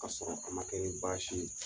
Ka sɔrɔ a man kɛ ni baasi ye.